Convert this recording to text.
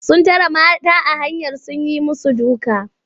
Sun tare mata a hanya sun yi musu duka.